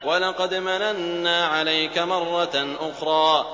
وَلَقَدْ مَنَنَّا عَلَيْكَ مَرَّةً أُخْرَىٰ